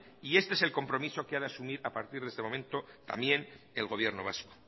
y este es el compromiso que ha de asumir a partir de este momento también el gobierno vasco